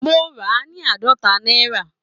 Mo rà á ní àádọ́ta náírà